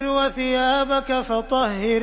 وَثِيَابَكَ فَطَهِّرْ